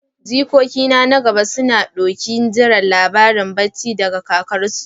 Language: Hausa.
Jikoki na gaba suna ɗokin jiran labaran bacci daga kakarsu.